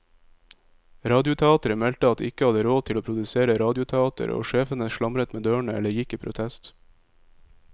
Radioteateret meldte at de ikke hadde råd til å produsere radioteater, og sjefene slamret med dørene eller gikk i protest.